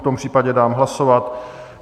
V tom případě dám hlasovat.